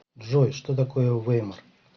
джой что такое веймар